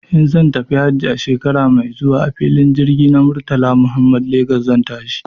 In zan tafi hajji shekara mai zuwa a filin jirgin Murtala Muhammad Lagos zan tashi.